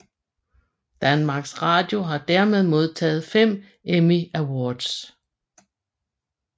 Danmarks Radio har dermed modtaget fem Emmy Awards